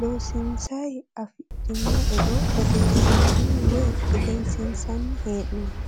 loosinsayi afidhino e"o odeesinanni woye egensiisanni hee'noonni